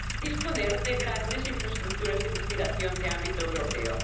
disponer de grandes infraestructuras de investigación de ámbito europeo.